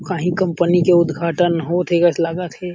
कही कंपनी के उद्घाटन होथे जैसे लागत हे।